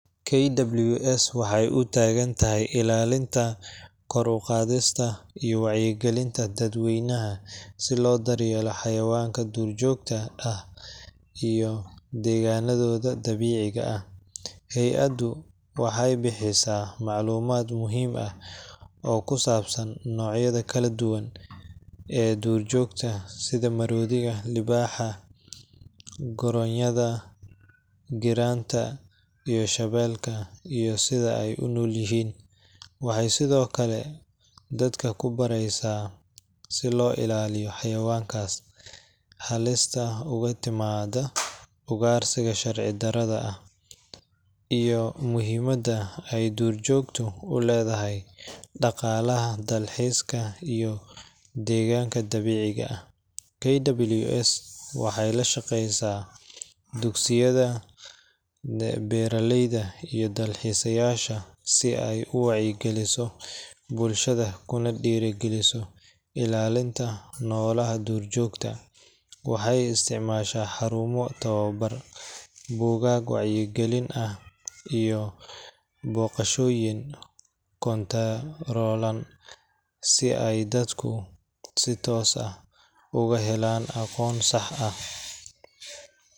KWS waxay u taagan tahay ilaalinta, kor u qaadista, iyo wacyigelinta dadweynaha si loo daryeelo xayawaanka duurjoogta ah iyo deegaanadooda dabiiciga ah. Hay’addu waxay bixisaa macluumaad muhiim ah oo ku saabsan noocyada kala duwan ee duurjoogta sida maroodiga, libaaxa, goronyada, giraanta, iyo shabeelka, iyo sida ay u nool yihiin. Waxay sidoo kale dadka ku baraysaa sida loo ilaaliyo xayawaankaas, halista uga timaadda ugaarsiga sharci darrada ah, iyo muhiimadda ay duurjoogtu u leedahay dhaqaalaha dalxiiska iyo deegaanka dabiiciga ah. KWS waxay la shaqeysaa dugsiyada, beeraleyda, iyo dalxiisayaasha si ay u wacyi-geliso bulshada kuna dhiirrigeliso ilaalinta noolaha duurjoogta. Waxay isticmaashaa xarumo tababar, buugaag wacyigelin ah, iyo booqashooyin koontaroolan si ay dadku si toos ah uga helaan aqoon sax ah